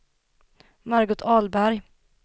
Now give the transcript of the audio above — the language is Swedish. Margot Ahlberg